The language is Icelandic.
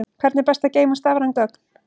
Hvernig er best að geyma stafræn gögn?